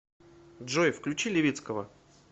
джой включи левицкого